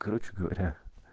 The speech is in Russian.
короче говоря